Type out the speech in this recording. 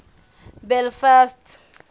belfast